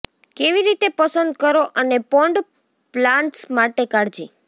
કેવી રીતે પસંદ કરો અને પોન્ડ પ્લાન્ટ્સ માટે કાળજી